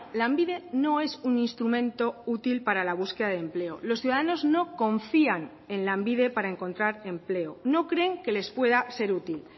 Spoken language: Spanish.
lanbide no es un instrumento útil para la búsqueda de empleo los ciudadanos no confían en lanbide para encontrar empleo no creen que les pueda ser útil